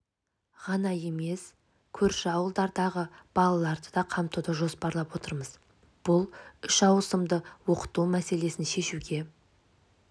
ғана емес көрші ауылдардағы балаларды да қамтуды жоспарлап отырмыз бұл үш ауысымды оқыту мәселесін шешуге